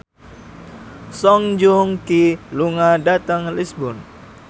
Song Joong Ki lunga dhateng Lisburn